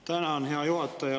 Tänan, hea juhataja!